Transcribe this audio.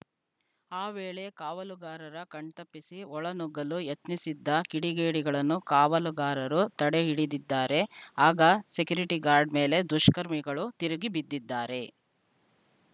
ಆ ವೇಳೆ ಕಾವಲುಗಾರರ ಕಣ್ತಪ್ಪಿಸಿ ಒಳ ನುಗ್ಗಲು ಯತ್ನಿಸಿದ್ದ ಕಿಡಿಗೇಡಿಗಳನ್ನು ಕಾವಲುಗಾರರು ತಡೆಹಿಡಿದ್ದಾರೆ ಆಗ ಸೆಕ್ಯುರಿಟಿಗಾರ್ಡ್‌ ಮೇಲೆ ದುಷ್ಕರ್ಮಿಗಳು ತಿರುಗಿ ಬಿದ್ದಿದ್ದಾರೆ